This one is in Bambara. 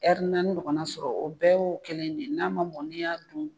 ɲɔgɔnna sɔrɔ o bɛɛ y'o kelen de ye n'a ma mɔn n'i y'a dun.